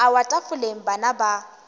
a wa tafoleng bana ba